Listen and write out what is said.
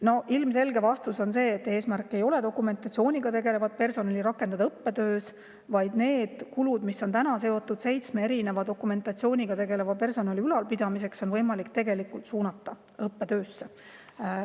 " No ilmselge vastus on see, et eesmärk ei ole dokumentatsiooniga tegelevat personali rakendada õppetöös, vaid need kulud, mis on seotud seitsme dokumentatsiooniga tegeleva personali ülalpidamisega, on võimalik suunata õppetöösse.